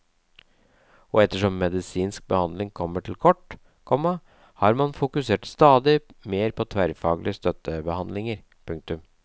Og ettersom medisinsk behandling kommer til kort, komma har man fokusert stadig mer på tverrfaglige støttebehandlinger. punktum